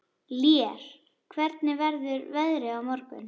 Lér, hvernig verður veðrið á morgun?